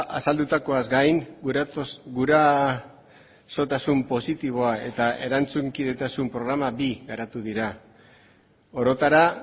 azaldutakoaz gain gurasotasun positiboa eta erantzunkidetasun programa bi garatu dira orotara